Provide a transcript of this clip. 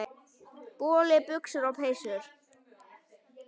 Boli, buxur og peysur.